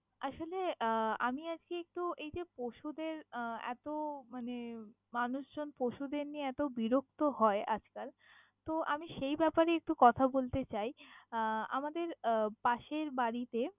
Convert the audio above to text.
আসলে, আহ আমি আজকে একটু এইযে পশুদের আহ এত মানে মানুষজন পশুদের নিয়ে এত বিরক্ত হয় আজকাল, তো আমি সেই ব্যাপারেই একটু কথা বলতে চাই! আহ আমদের পাশের বাড়িতে।